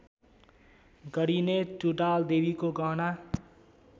गरिने टुँडालदेवीको गहना